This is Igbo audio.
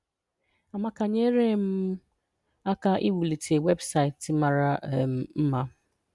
“Amaka nyeere um m aka iwulite webụsaịtị mara um mma.